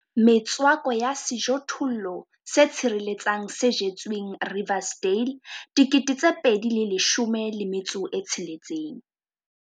Metswako ya sejothollo se tshireletsang se jetsweng Riversdale, 2016.